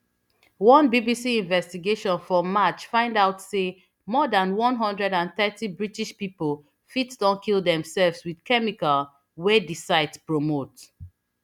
one bbc investigation for march find out say more dan one hundred and thirty british pipo fit don kill demsefs wt chemical wey di site promote